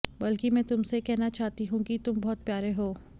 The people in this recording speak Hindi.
बल्कि मैं तुमसे ये कहना चाहती हूं कि तुम बहुत प्यारे हो